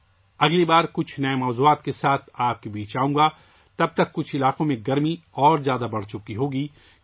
اگلی بار کچھ نئے موضوعات لے کر آؤں گا، تب تک کچھ علاقوں میں گرمی بڑھ چکی ہوگی